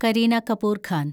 Kareena Kapoor Khan